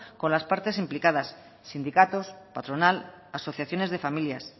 con las partes implicadas sindicatos patronal asociaciones de familias